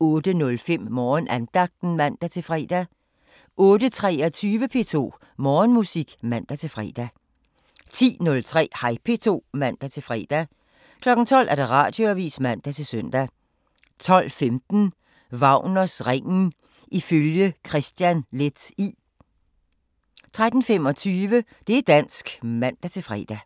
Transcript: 08:05: Morgenandagten (man-fre) 08:23: P2 Morgenmusik (man-fre) 10:03: Hej P2 (man-fre) 12:00: Radioavisen (man-søn) 12:15: Wagners Ringen ifølge Kristian Leth I 13:25: Det' dansk (man-fre)